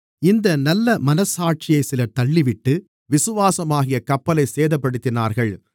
இந்த நல்ல மனச்சாட்சியைச் சிலர் தள்ளிவிட்டு விசுவாசமாகிய கப்பலைச் சேதப்படுத்தினார்கள்